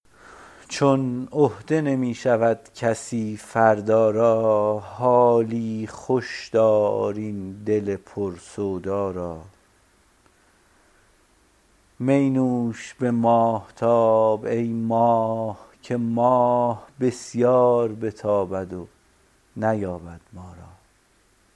چون عهده نمی شود کسی فردا را حالی خوش کن تو این دل سودا را می نوش به ماهتاب ای ماه که ماه بسیار بگردد و نیابد ما را